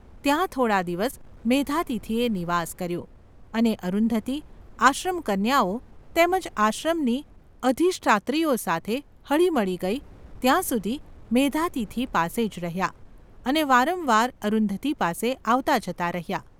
ત્યાં થોડા દિવસ મેધાતિથિએ નિવાસ કર્યો અને અરુંધતી, આશ્રમકન્યાઓ તેમ જ આશ્રમની અધિષ્ઠાત્રીઓ સાથે હળીમળી ગઈ ત્યાં સુધી મેધાતિથિ પાસે જ રહ્યા અને વારંવાર અરુંધતી પાસે આવતાજતા રહ્યા.